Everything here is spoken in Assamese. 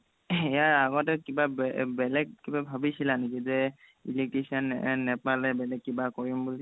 ইয়াৰ আগতে বেলেগ কিবা ভবিছিলা নেকি যে electrician নেপালে বেলেগ কিবা কৰিম বুলি